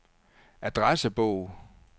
adressebog